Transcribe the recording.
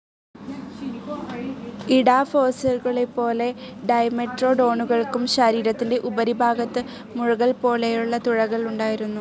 ഇഡാഫോസോറുകളെപ്പോലെ ഡൈമെട്രോഡോണുകൾക്കും ശരീരത്തിന്റെ ഉപരിഭാഗത്ത് മുഴകൾപോലെയുള്ള തുഴകൾ ഉണ്ടായിരുന്നു.